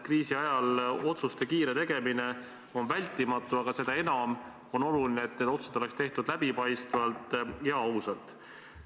Kriisi ajal on kiire otsuste tegemine vältimatu, aga seda enam on oluline, et need otsused oleks tehtud läbipaistvalt ja ausalt.